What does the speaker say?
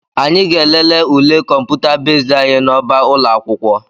Anyị ga-elele ule kọmputa bezd anyị n'ọba ụlọ akwụkwọ